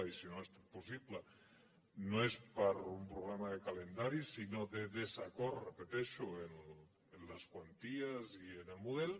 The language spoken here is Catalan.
i si no ha estat possible no és per un problema de calendari sinó de desacord ho repeteixo en les quanties i en el model